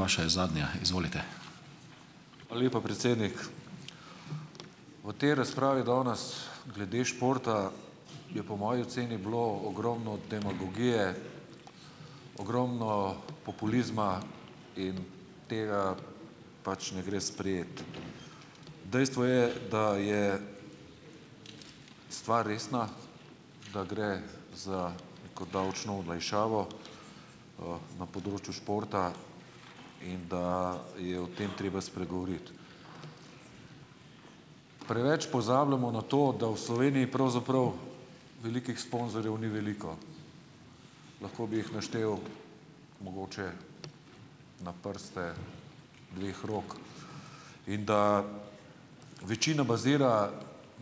Hvala lepa, predsednik. V tej razpravi danes, glede športa, je po moji oceni bilo ogromno demagogije , ogromno populizma in tega pač ne gre sprejeti. Dejstvo je, da je stvar resna, da gre za, kot davčno olajšavo, na področju športa in da je o tem treba spregovoriti. Preveč pozabljamo na to, da v Sloveniji pravzaprav velikih sponzorjev ni veliko. Lahko bi jih naštel mogoče na prste dveh rok in da večina bazira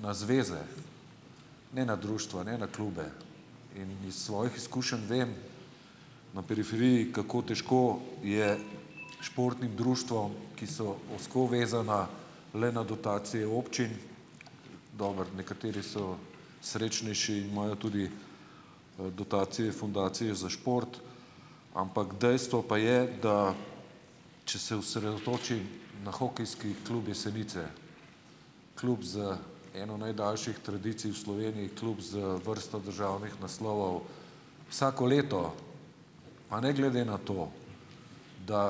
na zveze, ne na društva, ne na klube, in iz svojih izkušenj vem, na periferiji, kako težko je športnim društvom, ki so ozko vezana le na dotacije občin, dobro, nekateri so srečnejši, imajo tudi dotacije fundacije za šport, ampak dejstvo pa je, da če se osredotoči na Hokejski klub Jesenice. Klub z eno najdaljših tradicij v Sloveniji, klub z vrsto državnih naslovov. Vsako leto, pa ne glede na to, da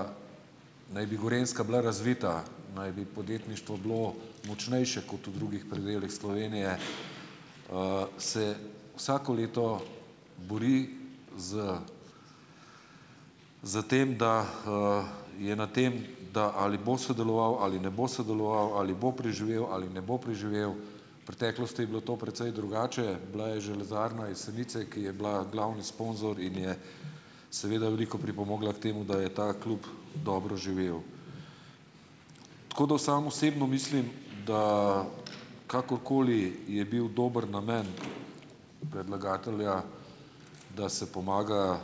naj bi Gorenjska bila razvita, naj bi podjetništvo bilo močnejše kot v drugih predelih Slovenije, se vsako leto buri s, s tem, da, je na tem, da ali bo sodeloval ali ne bo sodeloval, ali bo preživel ali ne bo preživel. Preteklosti je bilo to precej drugače, bila je Železarna Jesenice, ki je bila glavni sponzor in je seveda veliko pripomogla k temu, da je ta klub dobro živel. Tako da sam osebno mislim, da kakorkoli je bil dober namen predlagatelja, da se pomaga,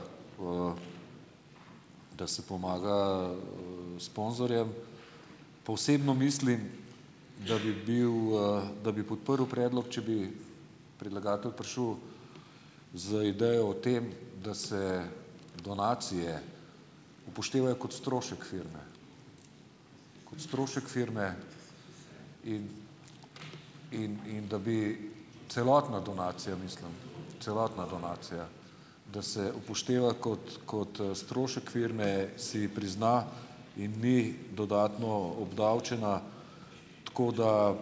da se pomaga, sponzorjem, pa osebno mislim, da bi bil, da bi podprl predlog, če bi predlagatelj prišel z idejo o tem, da se donacije upoštevajo kot strošek firme. Kot strošek firme in in, in, da bi celotna donacija, mislim, celotna donacija , da se upošteva kot, kot, strošek firme, se prizna in ni dodatno obdavčena. Tako, da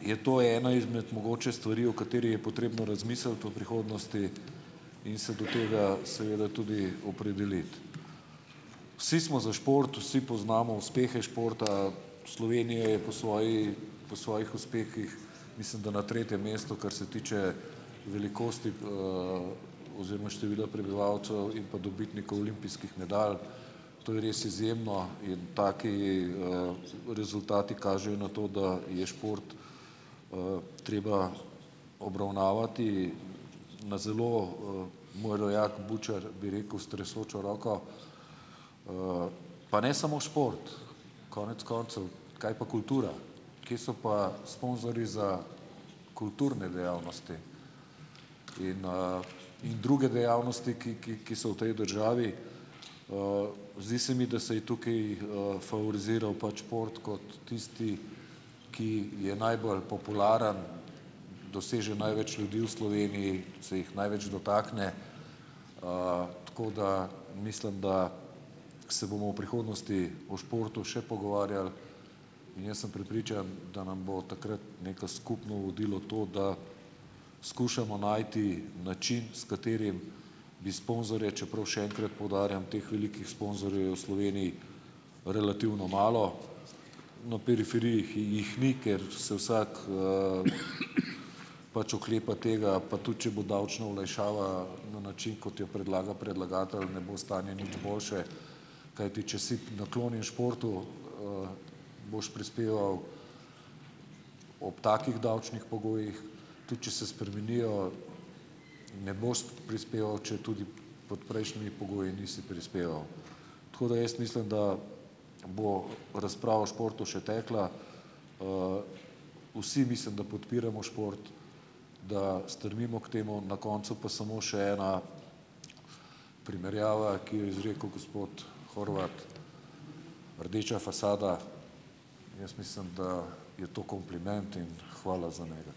je to ena izmed, mogoče, stvari, o kateri je potrebno razmisliti v prihodnosti in se do tega seveda tudi opredeliti. Vsi smo za šport, vsi poznamo uspehe športa , Slovenija je po svoji, po svojih uspehih mislim, da na tretjem mestu, kar se tiče velikosti, oziroma števila prebivalcev in pa dobitnikov olimpijskih medalj. To je res izjemno. In taki, rezultati kažejo na to, da je šport, treba obravnavati na zelo, moj rojak Bučar bi rekel, s tresočo roko. pa ne samo šport. Konec koncev kaj pa kultura? Kje so pa sponzorji za kulturne dejavnosti? In, , in druge dejavnosti, ki, ki, ki so v tej državi. zdi se mi, da saj tukaj, favoriziral pač šport kot tisti, ki je najbolj popularen, doseže največ ljudi v Sloveniji, se jih največ dotakne, tako da, mislim, da se bomo v prihodnosti o športu še pogovarjali. In jaz sem prepričan, da nam bo takrat neko skupno vodilo to, da skušamo najti način, s katerim, bi sponzorje, čeprav še enkrat poudarjam, teh velikih sponzorjev je v Sloveniji relativno malo, na periferiji jih ni, ker se vsak, pač oklepa tega, pa tudi, če bo davčno olajšava na način, kot jo predlaga predlagatelj , ne bo stanje nič boljše , kajti, če si naklonjen športu, boš prispeval, ob takih davčnih pogojih, tudi če se spremenijo, ne boš prispeval, četudi pod prejšnjimi nisi prispeval. Tako da jaz mislim, da bo razprava o športu še tekla. vsi mislim, da podpiramo šport, da strmimo k temu. Na koncu pa samo še ena primerjava, ki jo je izrekel gospod Horvat , rdeča fasada, jaz mislim, da je to kompliment in hvala za njega.